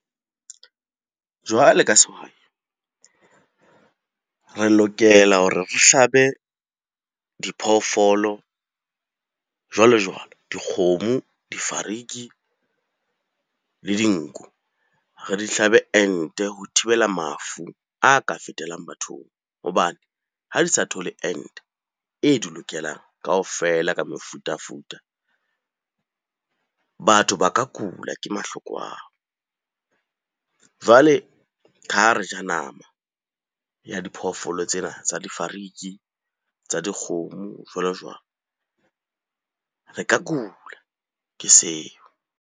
Jwale ka sehwai, re lokela hore re hlabe diphoofolo jwalo-jwalo. Dikgomo, difariki le dinku. Re di hlabe ente ho thibela mafu a ka fetelang bathong hobane ha di sa thole ente e di lokelang kaofela ka mefutafuta, batho ba ka kula ke mahloko ao. Jwale ha re ja nama ya diphoofolo tsena tsa difariki, tsa dikgomo jwalo-jwalo. Re ka kula ke seo.